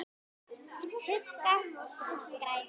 Huggast þú sem grætur.